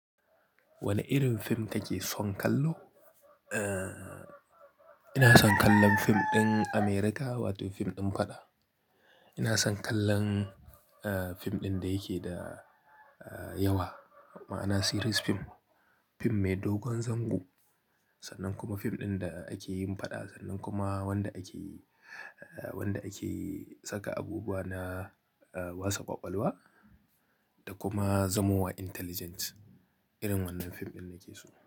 Wane irin fim kake son kallo? Eh, ina son kallon fim ɗin America wato fim ɗin faɗa. Ina son kallon, fim ɗin da yake da yawa ma'ana series film. Fim mai dogon zango sannan kuma fim ɗin da ake yin faɗa sannan kuma wanda ake, wanda ake saka abubuwa na, wasa kwakwalwa da kuma zamowa intelligent. Irin wannan fim ɗin nake so.